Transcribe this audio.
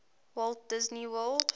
walt disney world